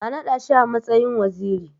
A naɗa shi a matsayin waziri.